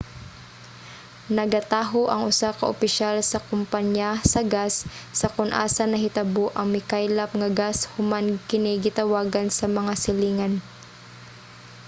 nagataho ang usa ka opisyal sa kumpanya sa gas sa kon asa nahitabo ang mikaylap nga gas human kini gitawagan sa mga silingan